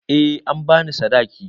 Eh an ba ni sadaki.